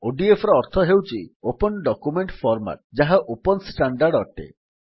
ODFର ଅର୍ଥ ହେଉଛି open document format ଯାହା ଓପନ୍ ଷ୍ଟାଣ୍ଡାର୍ଡ ଅଟେ